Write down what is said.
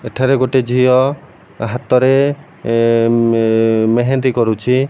ଏଠାରେ ଗୋଟେ ଝିଅ ହାତରେ ଏ ମେ ମେହେନ୍ଦି କରୁଛି।